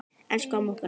Elsku amma okkar.